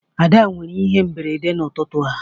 Ada nwere ihe mberede n'ụtụtụ a